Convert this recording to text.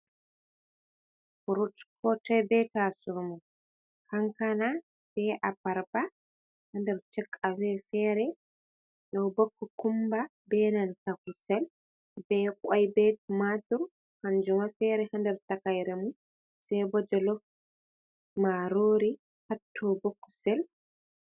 Fruit ko toi be taso mun. Kankana be abarba ha nder take away fere, do bo cocumber be nanta kusel be Kwai be tumatir kanjum ma fere ha nder takaire mun. Sai bo jolof marori, hatto bo kusel...